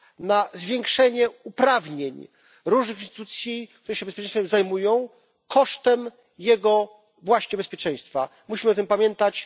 na zwiększenie uprawnień różnych instytucji, które się bezpieczeństwem zajmują, kosztem jego właśnie bezpieczeństwa. Musimy o tym pamiętać.